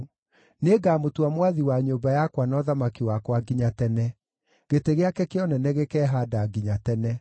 Nĩngamũtua mwathi wa nyũmba yakwa na ũthamaki wakwa nginya tene; gĩtĩ gĩake kĩa ũnene gĩkehaanda nginya tene.’ ”